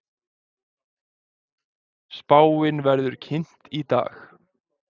Spáin verður kynnt í dag